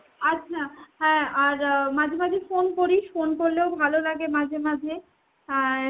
আচ্ছা। হ্যাঁ আর মাঝে মাঝে phone করিস। phone করলেও ভালোলাগে মাঝে মাঝে। আর